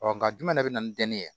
nka jumɛn de bɛ na ni dɛnɛ ye